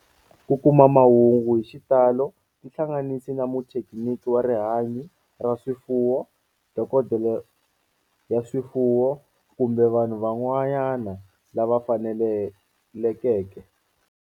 Ku kuma mahungu hi xitalo tihlanganisi na muthekiniki wa rihanyo ra swifuwo, dokodela ya swifuwo, kumbe vanhu van'wana lava fanelekeke.